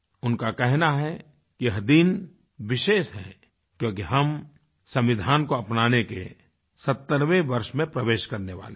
उनका कहना है यह दिन विशेष है क्योंकि हम संविधान को अपनाने के 70वें वर्ष में प्रवेश करने वाले हैं